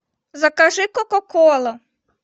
закажи кока колу